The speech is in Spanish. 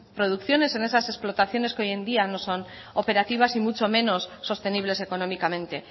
producciones en esas explotaciones que hoy en día no son operativas y muchos menos sostenibles económicamente